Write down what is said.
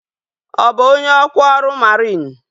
Ọ bụ onye ọkwa ọrụ mariin?